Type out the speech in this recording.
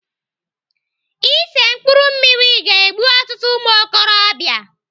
Ise mkpụrụ mmiri ga-egbu ọtụtụ ụmụokorobịa.